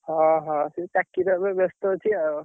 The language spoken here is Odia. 'ଓହୋ!'' ସେ ଚାକିରୀରେ ଏବେ ବେସ୍ତ ଅଛି ଆଉ।